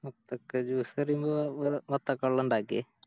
വത്തക്ക Juice പറയുമ്പോ വേ വത്തക്ക വെള്ളം ഇണ്ടാക്കെ